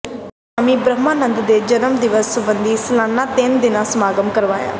Swami Brahmanand ਦੇ ਜਨਮ ਦਿਵਸ ਸਬੰਧੀ ਸਾਲਾਨਾ ਤਿੰਨ ਦਿਨਾਂ ਸਮਾਗਮ ਕਰਵਾਇਆ